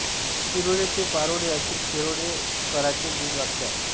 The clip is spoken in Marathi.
शिरोळे ते पारोळे असे शिरोळे कराचे ब्रीद वाक्य आहे